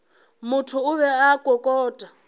motho o be a kokota